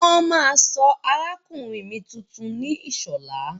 Wọ́n máa sọ arákùnrin mi tuntun ní Ìṣọ̀lá.